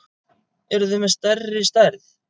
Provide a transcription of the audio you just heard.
Eruð þið með stærri stærð?